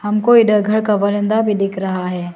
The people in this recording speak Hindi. हमको इधर घर का बरांडा भी दिख रहा है।